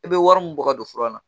I bɛ wari min bɔ ka don fura la